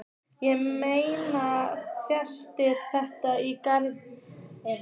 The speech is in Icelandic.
Ég meina, fæst þetta í gegn?